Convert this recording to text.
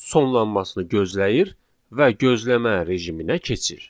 sonlanmasını gözləyir və gözləmə rejiminə keçir.